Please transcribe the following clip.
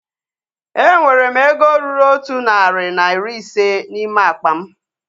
Enwere m ego ruru otụ narị na iri ise n'ime akpa m